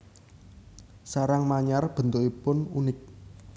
Sarang manyar bentukipun unik